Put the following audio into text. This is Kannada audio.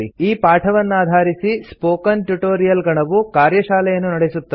ಈ ಪಾಠವನ್ನಾಧಾರಿಸಿ ಸ್ಪೋಕನ್ ಟ್ಯುಟೊರಿಯಲ್ ಗಣವು ಕಾರ್ಯಶಾಲೆಯನ್ನು ನಡೆಸುತ್ತದೆ